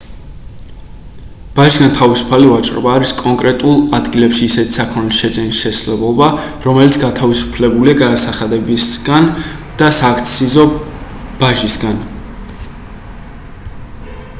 ბაჟისგან თავისუფალი ვაჭრობა არის კონკრეტულ ადგილებში ისეთი საქონლის შეძენის შესაძლებლობა რომელიც გათავისუფლებულია გადასახადებისგან და სააქციზო ბაჟისგან